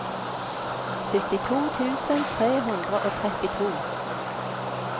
syttito tusen tre hundre og trettito